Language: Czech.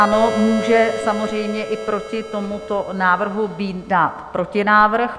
Ano, může samozřejmě i proti tomuto návrhu být dán protinávrh.